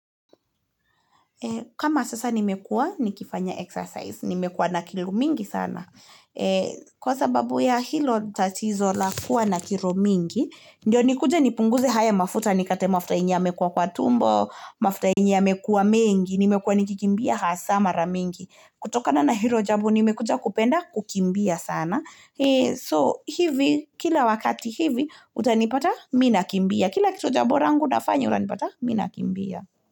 Kama sasa nimekuwa, nikifanya exercise, nimekuwa na kilo mingi sana. Kwa sababu ya hilo tatizo la kuwa na kilo mingi. Ndio nikuje nipunguze haya mafuta nikate mafuta yenye yamekuwa kwa tumbo. Mafuta yenye yamekuwa mengi. Nimekuwa nikikimbia hasa mara mingi. Kutokana na hilo jambo nimekuja kupenda kukimbia sana. Kila wakati hivi, utanipata, mimi nakimbia. Kila kitu jambo langu nafanya utanipata, mimi nakimbia.